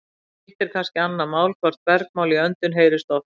Hitt er kannski annað mál hvort bergmál í öndum heyrist oft.